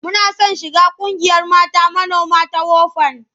Muna son shiga ƙungiyar mata manoma ta WOFAN.